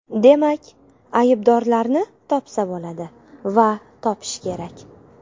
Demak, aybdorlarni topsa bo‘ladi va topish kerak.